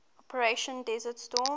operation desert storm